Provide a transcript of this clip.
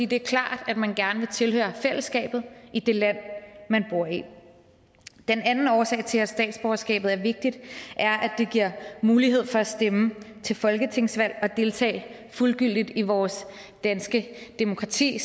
det er klart at man gerne vil tilhøre fællesskabet i det land man bor i den anden årsag til at statsborgerskabet er vigtigt er at det giver mulighed for at stemme til folketingsvalg og deltage fuldgyldigt i vores danske demokrati